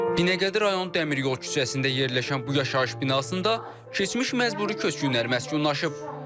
Binəqədi rayonu Dəmiryol küçəsində yerləşən bu yaşayış binasında keçmiş məcburi köçkünlər məskunlaşıb.